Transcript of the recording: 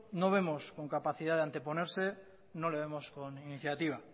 no vemos con capacidad de anteponerse no le vemos con iniciativa